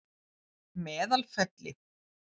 Meðalfelli